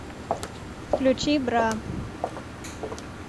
включи бра